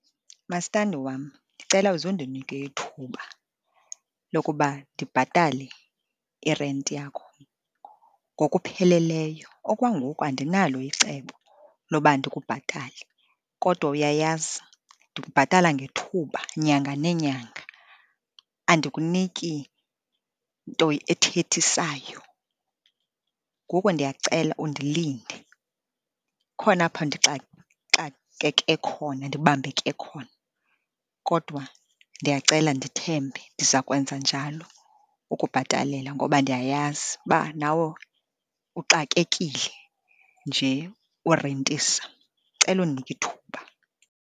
Mastandi wam, ndicela uze undinike ithuba lokuba ndibhatale irenti yakho ngokupheleleyo. Okwangoku andinalo icebo loba ndikubhatale, kodwa uyayazi ndikubhatala ngethuba nyanga neenyanga, andikuniki nto ethethisayo. Ngoku ndiyacela undilinde, khona apho ndixakeke khona, ndibambeke khona, kodwa ndiyacela ndithembe, ndiza kwenza njalo ukubhatalela, ngoba ndiyayazi uba nawe uxakekile nje urentisa. Ndicela undinike ithuba.